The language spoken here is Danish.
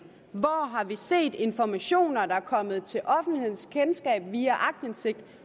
hvor har vi set informationer der er kommet til offentlighedens kendskab via aktindsigt